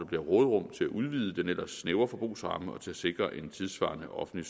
bliver råderum til at udvide den ellers snævre forbrugsramme og sikre en tidssvarende offentlig